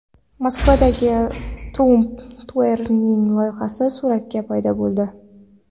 Moskvadagi Trump Tower’ning loyihasi surati paydo bo‘ldi.